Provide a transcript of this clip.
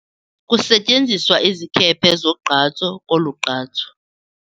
Kusetyenziswa izikhephe zogqatso kolu gqatso.